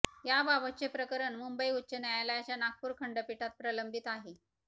याबाबतचे प्रकरण मुंबई उच्च न्यायालयाच्या नागपूर खंडपीठात प्रलंबित आहे